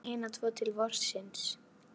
Og hver vill þá geyma hina tvo til vorsins?